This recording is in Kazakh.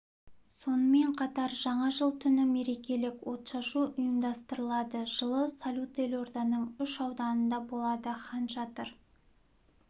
сонымен қатар жаңа жыл түні мерекелік отшашу ұйымдастырылады жылы салют елорданың үш ауданында болады хан шатыр